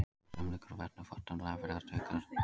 Auk þess umlykur og verndar fitan líffæri og taugar.